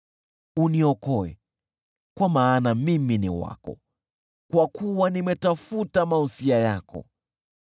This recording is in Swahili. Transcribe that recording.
Uniokoe, kwa maana mimi ni wako, kwa kuwa nimetafuta mausia yako.